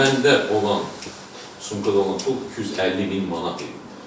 Məndə olan pul, yəni sumkada olan pul 250 min manat idi.